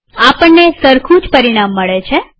આપણને સરખું જ પરિણામ મળે છે